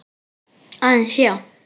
Aðeins, já.